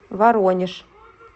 воронеж